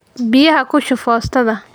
Biyaha ku shub foostada.